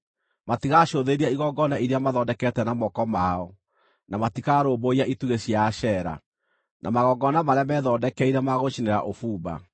Matigacũthĩrĩria igongona iria mathondekete na moko mao, na matikarũmbũiya itugĩ cia Ashera, na magongona marĩa methondekeire ma gũcinĩra ũbumba.